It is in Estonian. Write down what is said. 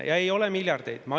Ja ei ole miljardeid!